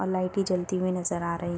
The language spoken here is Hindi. अ लाइटें जलती हुई नजर आ रही --